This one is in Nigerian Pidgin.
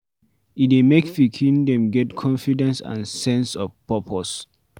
E dey make pikin dem get confidence and sense of purpose